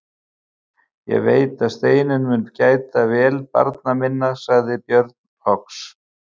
Ég veit að Steinunn mun gæta vel barna minna, sagði Björn loks.